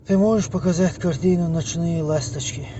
ты можешь показать картину ночные ласточки